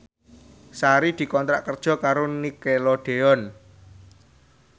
Sari dikontrak kerja karo Nickelodeon